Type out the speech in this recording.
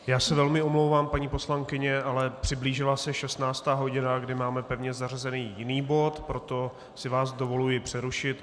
Já se velmi omlouvám, paní poslankyně, ale přiblížila se 16. hodina, kdy máme pevně zařazený jiný bod, proto si vás dovoluji přerušit.